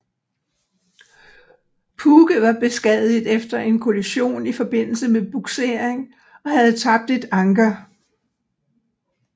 Puke var beskadiget efter en kollision i forbindelse med bugsering og havde tabt et anker